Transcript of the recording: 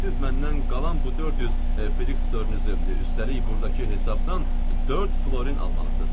Siz məndən qalan bu dörd yüz filiks dörnünüzü, üstəlik burdakı hesabdan dörd florin almalısınız.